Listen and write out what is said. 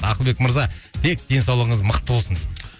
ақылбек мырза тек денсаулығыңыз мықты болсын дейді